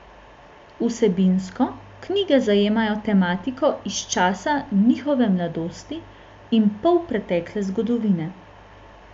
Vsebinsko knjige zajemajo tematiko iz časa njihove mladosti in polpretekle zgodovine.